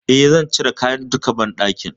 E, zan cire duka kayan banɗakin.